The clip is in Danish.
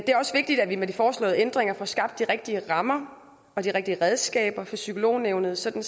det er også vigtigt at vi med de foreslåede ændringer får skabt de rigtige rammer og de rigtige redskaber for psykolognævnet sådan